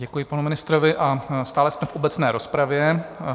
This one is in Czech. Děkuji panu ministrovi a stále jsme v obecné rozpravě.